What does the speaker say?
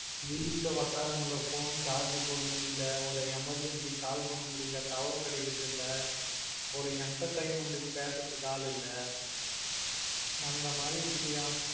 வீட்டுல உக்கார முடியல phone charge போட முடியல ஒரு emergency call பண்ண முடியல tower கிடைக்குறது இல்ல ஒரு entertainment கு பேசுறதுக்கு ஆளு இல்ல அந்த மாதிரி இருக்குதுயா